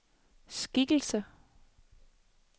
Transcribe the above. skikkelse